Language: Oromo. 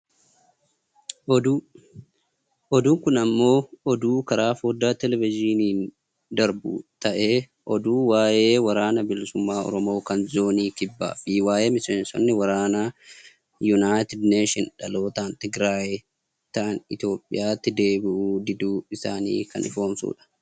Oduu, oduun kun ammoo oduu karaa fooddaa televejiiniin darbu ta'ee, oduu waayee waraana bilisummaa Oromoo kan zoonio kibbaa fi waayee miseensonni waraanaa united nation dhalootaan tigiraayi ta'an Itoophiyaatti deebi'uu diduu isaanii kan ifoomsudha.